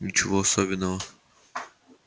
ничего особенного